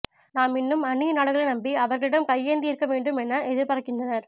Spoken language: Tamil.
நாம் இன்னும் அந்நிய நாடுகளை நம்பி அவர்களிடம் கையேந்தி இருக்க வேண்டும் என எதிர்பார்க்கினறனர்